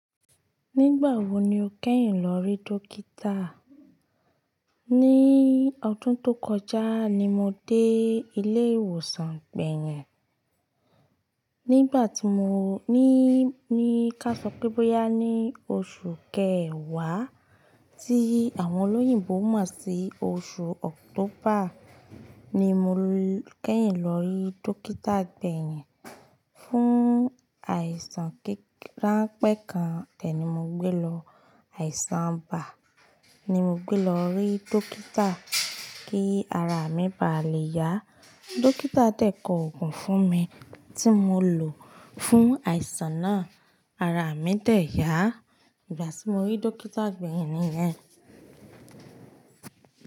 Nígbà wo ni o kẹ́yìn lọ rí dókítà? Ni ọdún tó kọjá ni mo dé ilé ìwòsàn gbẹ̀yìn. Nígbà tí mo ní ní ká sọ pé bóyá ni oṣù kẹwàá tí àwọn olóyìnbo mọ̀ sí oṣù October ni mo kẹ́yìn lọ rí dókítà gbẹ̀yìn fún àìsàn kíráńpẹ́ kan. Dẹ̀ ní mo gbé lọ. Àìsàn ibà ni mo gbé lọ rí dókítà kí ara mi ba lè yá. Dókítà dẹ̀ kọ òògùn fún mi tí mo lọ fún àìsàn náà. Ara mi dẹ̀ yá ìgbà tí mo rí dókítà gbẹ̀yìn nìyẹn.